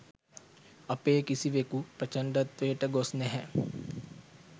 අපේ කිසිවෙකු ප්‍රචණ්ඩත්වයට ගොස් නැහැ.